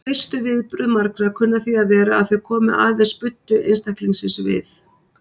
Fyrstu viðbrögð marga kunna því að vera að þau komi aðeins buddu einstaklingsins við.